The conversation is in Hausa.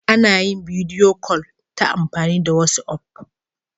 Ana yin bidiyo kol ta amfani da wasi'of.